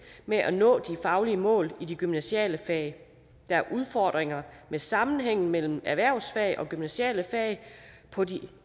med at nå de faglige mål i de gymnasiale fag der er udfordringer med sammenhængen mellem erhvervsfag og gymnasiale fag på de